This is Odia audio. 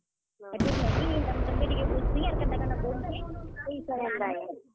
ହେତିର ଲାଗି, ତମ୍ କେ ଟିକେ ବୁଝସିଁ ଯେ କେନ୍ତା କେନ୍ତା ପଡୁଛେ ସେ ହିସାବେ ଆନ୍ ମି।